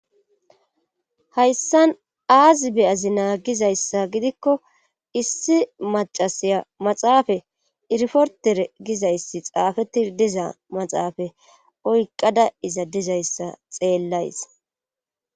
Hayssan aazi beyazi naagizayssa gidikko issi macasiya maxaafa irfortere gizayssi xaafeti diza maxaafa oyqqada iza dizayssa xeellays